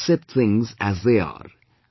Just accept things as they are